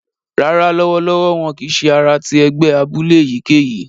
Rárá, lọwọlọwọ wọn kìí ṣe àrà ti ẹgbẹ abúlé èyíkéyìí